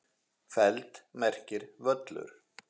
feld merkir völlur.